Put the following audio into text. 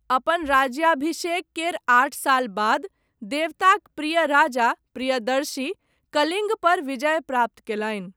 अपन राज्याभिषेक केर आठ साल बाद, देवताक प्रिय राजा, प्रियदर्शी, कलिङ्गपर विजय प्राप्त कयलनि।